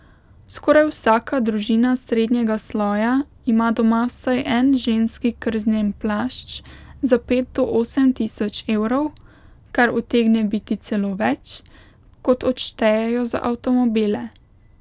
Skoraj vsaka družina srednjega sloja ima doma vsaj en ženski krznen plašč za pet do osem tisoč evrov, kar utegne biti celo več, kot odštejejo za avtomobile.